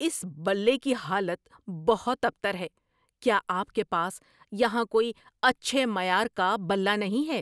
اس بلے کی حالت بہت ابتر ہے۔ کیا آپ کے پاس یہاں کوئی اچھے معیار کا بلّا نہیں ہے؟